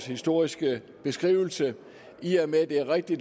historiske beskrivelse er rigtig i